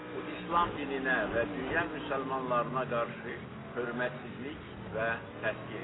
Bu İslam dininə və dünya müsəlmanlarına qarşı hörmətsizlik və təhqir idi.